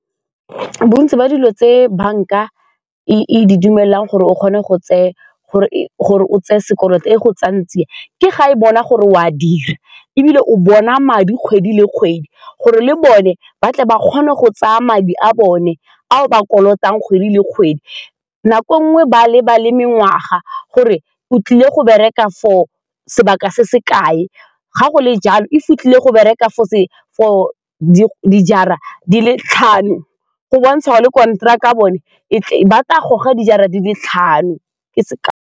Bontsi ba dilo tse banka e di dumelang gore o tseye sekoloto e go tsaya tsia ke ga e bona gore o a dira ebile o bona madi kgwedi le kgwedi gore le bone ba tle ba kgone go tsaya madi a bone a o ba kolotang kgwedi le kgwedi, nako nngwe ba lebale mengwaga gore o tlile go bereka for sebaka se se kae, ga go le jalo e fitlhile go bereka for dijara di le tlhano go bontsha le konteraka bone e tle be ba tla go goga dijara di le tlhano .